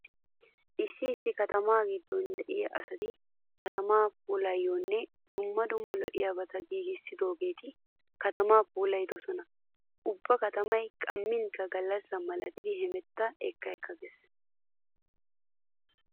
Issi issi katama giddon diya asati katamaa puulanaayyo dumma dumma lo'iyabata giigissidoogeeti katama phoolissoosona. Ubba katamay qammikka gallassa milatidi hemetta ekka ekka gees.